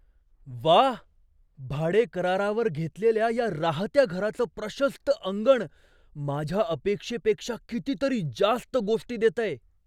व्वा, भाडेकरारावर घेतलेल्या या राहत्या घराचं प्रशस्त अंगण माझ्या अपेक्षेपेक्षा कितीतरी जास्त गोष्टी देतंय.